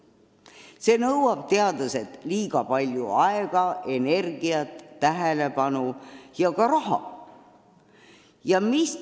See nõuab teadlastelt liiga palju aega, energiat, tähelepanu ja ka raha.